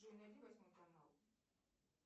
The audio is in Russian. джой найди восьмой канал